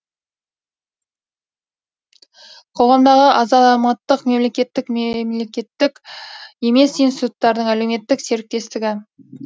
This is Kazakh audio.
қоғамдағы азааматтық мемлекеттік меемлекттік емес институттардың әлеуметтік серіктестігі